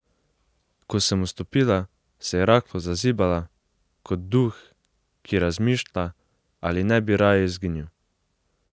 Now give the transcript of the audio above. Ko sem vstopila, se je rahlo zazibala, kot duh, ki razmišlja, ali ne bi raje izginil.